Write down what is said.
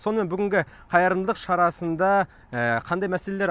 сонымен бүгінгі қайырымдылық шарасында қандай мәселелер